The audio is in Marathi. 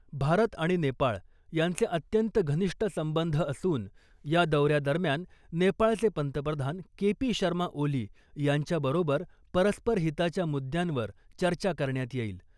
भारत आणि नेपाळ यांचे अत्यंत घनिष्ट संबंध असून या दौऱ्यादरम्यान , नेपाळचे पंतप्रधान के पी शर्मा ओली यांच्या बरोबर परस्पर हिताच्या मुद्यांवर चर्चा करण्यात येईल .